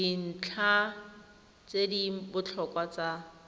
dintlha tse di botlhokwa tsa